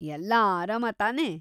ಎಲ್ಲಾ ಆರಾಮ ತಾನೇ.